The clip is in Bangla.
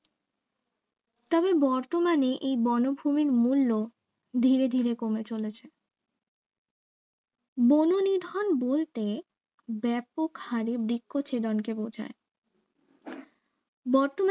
তবে বর্তমানে এই বনভূমির মূল্য ধীরে ধীরে কমে চলেছে বননিধন বলতে ব্যাপক হারে বৃক্ষ ছেদনকে বোঝায় বর্তমানে